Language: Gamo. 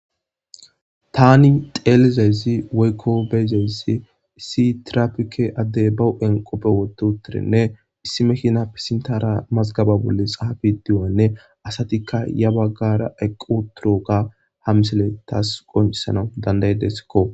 tani xeelizezi weykko beyzezi issi tirafike addey ba u7en qoppe wototirenne issi mekina pisintara mazgaba bolle xahafe diyanne asatikka ya baggara eqqu turuoga hamisele taas qoncisana dandayedesekko